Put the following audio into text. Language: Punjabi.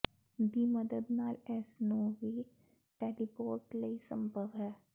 ਦੀ ਮਦਦ ਨਾਲ ਇਸ ਨੂੰ ਵੀ ਟੈਲੀਪੋਰਟ ਲਈ ਸੰਭਵ ਹੈ